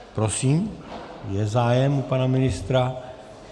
Prosím, je zájem u pana ministra.